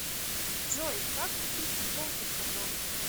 джой как купить футболку с котом